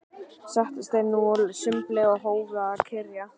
Settust þeir nú að sumbli og hófu að kyrja